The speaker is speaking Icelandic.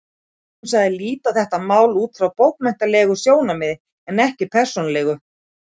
Hún sagðist líta á þetta mál út frá bókmenntalegu sjónarmiði en ekki persónulegu.